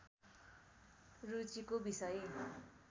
रुचिको विषय